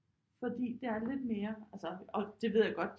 Fordi det er lidt mere altså og det ved jeg godt